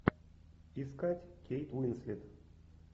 искать кейт уинслет